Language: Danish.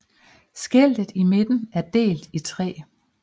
Skiltet i midten er delt i tre